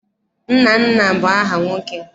Nnanna bụ aha nwoke.